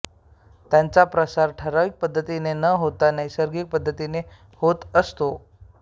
त्यांचा प्रसार ठरावीक पद्धतीने न होता नैसर्गिक पद्धतीने होत असतो